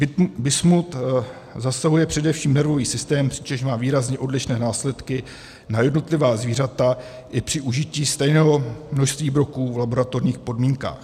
Bismut zasahuje především nervový systém, přičemž má výrazně odlišné následky na jednotlivá zvířata i při užití stejného množství broků v laboratorních podmínkách.